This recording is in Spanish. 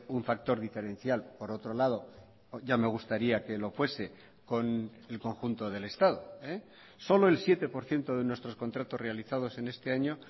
un factor diferencial por otro lado ya me gustaría que lo fuese con el conjunto del estado solo el siete por ciento de nuestros contratos realizados en este año